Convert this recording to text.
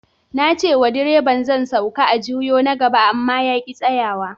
Na ce wa direban zan sauke a juyo na gaba, amma ya ki tsayawa.